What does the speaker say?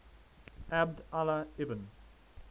abd allah ibn